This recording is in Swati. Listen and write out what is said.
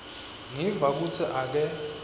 ngiva kutsi ake